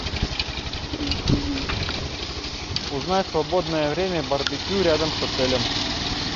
узнай свободное время барбекю рядом с отелем